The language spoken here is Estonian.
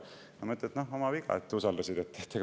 " Ja siis mina ütlen: "Oma viga, et usaldasid.